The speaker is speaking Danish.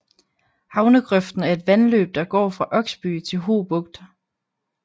Havnegrøften er et vandløb der går fra Oksby til Ho Bugt